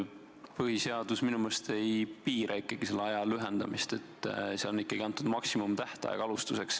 Põhiseadus minu meelest ei piira ikkagi selle aja lühendamist, seal on antud maksimumtähtaeg.